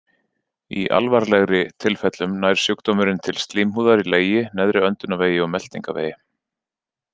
Í alvarlegri tilfellum nær sjúkdómurinn til slímhúðar í legi, neðri öndunarvegi og meltingarvegi.